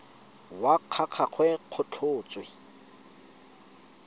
wa ga gagwe go tlhotswe